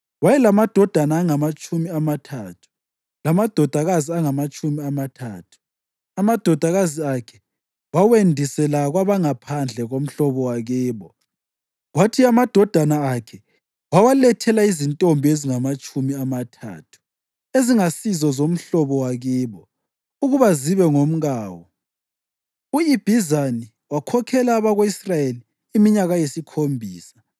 Wayelamadodana angamatshumi amathathu lamadodakazi angamatshumi amathathu. Amadodakazi akhe wawendisela kwabangaphandle komhlobo wakibo kwathi amadodana akhe wawalethela izintombi ezingamatshumi amathathu ezingasizo zomhlobo wakibo ukuba zibe ngomkawo. U-Ibhizani wakhokhela abako-Israyeli iminyaka eyisikhombisa.